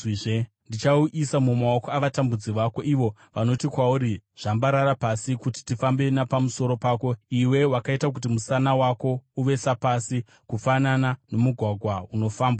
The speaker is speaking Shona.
Ndichauisa mumaoko avatambudzi vako, ivo vanoti kwauri, ‘Zvambarara pasi kuti tifambe napamusoro pako.’ Iwe wakaita kuti musana wako uve sapasi, kufanana nomugwagwa unofambwa nawo.”